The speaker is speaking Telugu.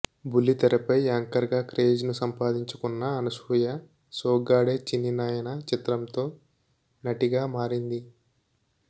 బుల్లితెరపై యాంకర్ గా క్రేజ్ ను సంపాదించుకున్న అనసూయ సోగ్గాడే చిన్ని నాయన చిత్రంతో నటిగా మారింది